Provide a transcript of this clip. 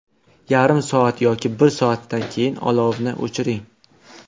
Yarim soat yoki bir soatdan keyin olovni o‘chiring.